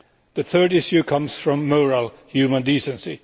The third issue comes from moral human decency.